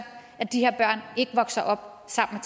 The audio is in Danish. at de her børn ikke vokser op sammen